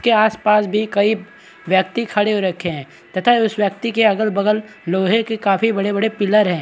के आस-पास भी कई व्यक्ति खड़े हो रखे है तथा उस व्यक्ति के अगल-बगल लोहे के काफी बड़े-बड़े पिलर है।